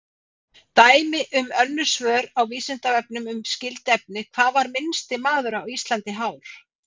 Dæmi um önnur svör á Vísindavefnum um skyld efni: Hvað var minnsti maður Íslands hár?